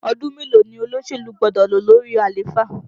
Ọdún mélòó ni olóṣèlú gbọ́dọ̀ lò lórí àléfà?